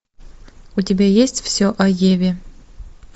у тебя есть все о еве